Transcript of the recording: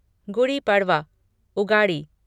Gudi Padwa Ugadi